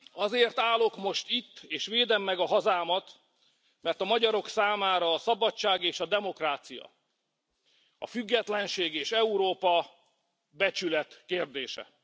Azért állok most itt, és védem meg a hazámat, mert a magyarok számára a szabadság és a demokrácia, a függetlenség és Európa becsület kérdése.